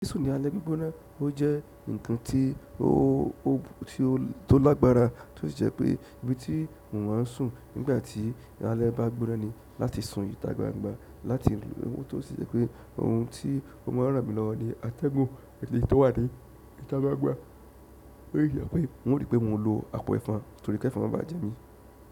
Sísùn ní alẹ́ gbígbóná, ó jẹ́ ǹkan tí ó, tó lágbára, tó sì jẹ́ pé ibi tí mo máa ń sùn nígbà tí alẹ́ bá gbóná ni láti sùn ìta gbangba láti ìlú. Ó tún sì jẹ́ pé ohun tí ó máa ń ràn mí lọ́wọ́ ni atẹ́gùn èyí tó wà ní ìta gbangba. Ó sì jẹ́ pé n ó ri pé mo lo àpò ẹ̀fọn torí kẹ́fọn má ba à jẹ mí.